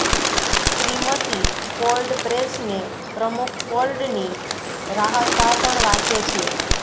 Shrimati Ford પ્રેસને પ્રમુખ ફોર્ડની રાહત ભાષણ વાંચે છે